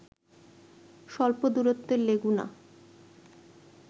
স্বল্প দূরত্বের লেগুনা